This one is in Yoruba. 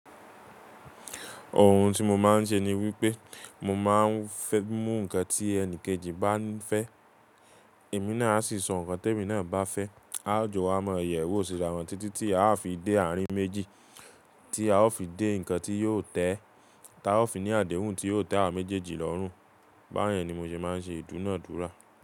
Ohun tí mo máa ń ṣe ni wípé mo máa ń fẹ́ mú nǹkan tí ẹni kejì bá ń fẹ́, èmi náà aa sì sọ nǹkan tí èmi náà bá fẹ́. A ó jọ wa mọ yẹ̀wo, ó sì rà wọ́n títí tí a ó fi dé àárín méjì tí a ó fi dé nǹkan tí yóò tẹ́ ẹ. Tí a ó fi ní àdéhùn tí yóò tẹ́ àwa méjèèjì lọ́rùn. Báyẹn ni mo ṣe máa ń ṣe ìdúnàádúrà.